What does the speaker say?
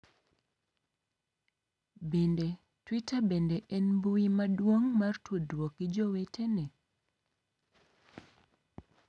Bende, Twitter bende en mbui maduong' mar tudruok gi jowetene.